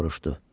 soruşdu.